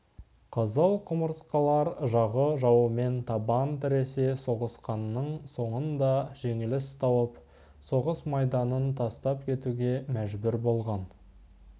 қызыл құмырсқалар жағы жауымен табан тіресе соғысқанның соңында жеңіліс тауып соғыс майданын тастап кетуге мәжбүр болған